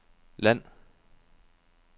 land